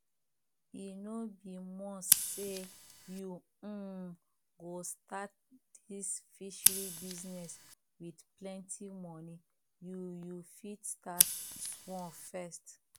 e no be must say you um go start dis fishery business with plenty money you you fit start small first